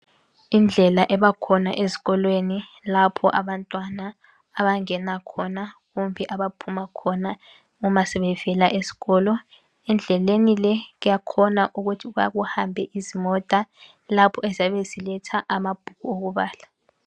Indlela ebakhona ezikolweni lapho abantwana abangena khona kumbe abaphuma khona uma sebevela esikolo .Endleleni le kuyakhona ukuthi kuhambe izimota lapho eziyabe ziletha amabhuku okubala .